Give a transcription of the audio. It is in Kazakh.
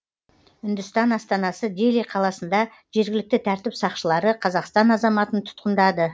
үндістан астанасы дели қаласында жергілікті тәртіп сақшылары қазақстан азаматын тұтқындады